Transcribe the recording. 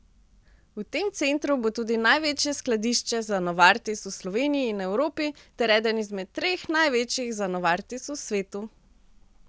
V tem centru bo tudi največje skladišče za Novartis v Sloveniji in Evropi ter eden izmed treh največjih za Novartis v svetu.